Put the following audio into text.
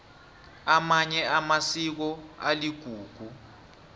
amanye amasiko aligugu